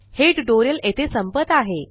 हे ट्यूटोरियल येथे संपत आहे